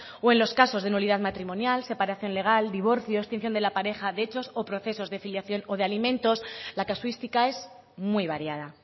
o en los casos de nulidad matrimonial separación legal divorcio extinción de la pareja de hechos o procesos de filiación o de alimentos la casuística es muy variada